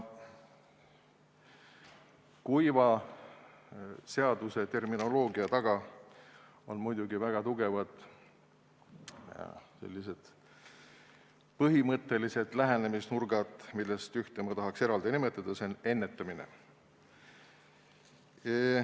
Kuiva seaduseterminoloogia taga on muidugi väga tugevad põhimõttelised lähenemisnurgad, millest ühte ma tahaks eraldi nimetada – see on ennetamine.